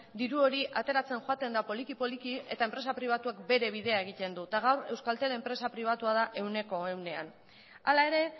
diru hori ateratzen joaten da poliki poliki eta enpresa pribatuak bere bidea egiten du eta gaur euskaltel enpresa pribatua da ehuneko ehunean hala ere